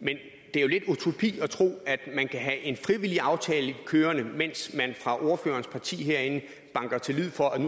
men det er jo lidt utopisk at tro at man kan have en frivillig aftale kørende mens man fra ordførerens parti herinde slår til lyd for at der